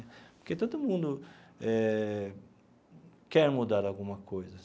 Porque todo mundo eh quer mudar alguma coisa.